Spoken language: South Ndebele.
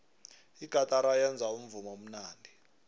igatara yenza umvumo omnandi